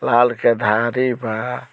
लाल के धारी बा।